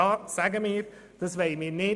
Das wollen wir nicht.